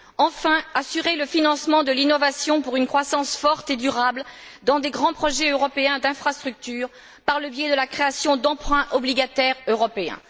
Enfin, assurer le financement de l'innovation pour une croissance forte et durable dans des grands projets européens d'infrastructures, par le biais de la création d'emprunts obligataires européens.